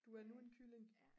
du er nu en kylling